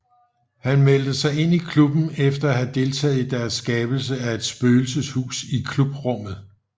Han meldte sig ind i klubben efter at have deltaget i deres skabelse af et spøgelseshus i klubrummet